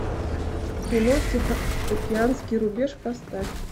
кино тихоокеанский рубеж поставь